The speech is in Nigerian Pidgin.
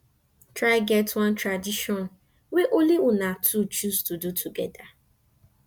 try get one tradition wey only una two choose to do togeda